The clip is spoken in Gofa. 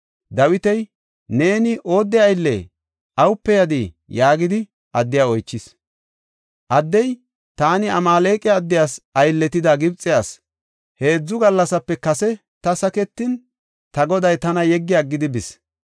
Dawiti, “Neeni oodde ayllee? Awupe yadii?” yaagidi addiya oychis. Addey, “Taani Amaaleqa addiyas aylletida Gibxe asi; heedzu gallasape kase ta saketin, ta goday tana yeggi aggidi bis.